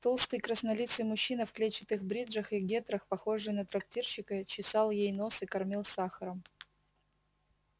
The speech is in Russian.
толстый краснолицый мужчина в клетчатых бриджах и гетрах похожий на трактирщика чесал ей нос и кормил сахаром